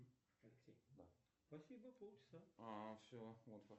джой как заставить себя подойти к человеку и познакомиться